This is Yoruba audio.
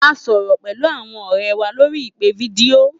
A sọrọ pẹlu awọn ọrẹ wa lori ipe fidio.